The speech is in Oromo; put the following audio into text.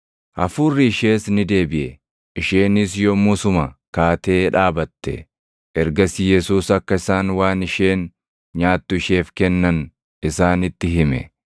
Hafuurri ishees ni deebiʼe; isheenis yommusuma kaatee dhaabatte. Ergasii Yesuus akka isaan waan isheen nyaattu isheef kennan isaanitti hime.